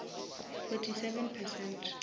fourty seven percent